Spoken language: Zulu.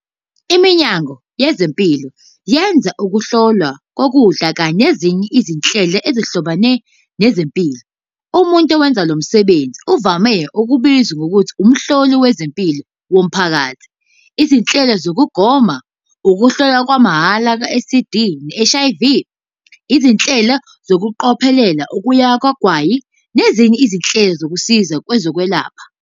Iminyango yezempilo yenza Ukuhlolwa kokudla kanye nezinye izinhlelo ezihlobene nezempilo, umuntu owenza lo msebenzi uvame ukubizwa ngokuthi Umhloli wezempilo womphakathi, izinhlelo zokugoma, ukuhlolwa kwamahhala kwe-STD ne-HIV, izinhlelo zokuphoqelela ukuyeka kwagwayi, nezinye izinhlelo zosizo lwezokwelapha.